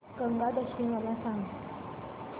गंगा दशमी मला सांग